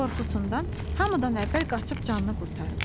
Qorxusundan hamıdan əvvəl qaçıb canını qurtarıb.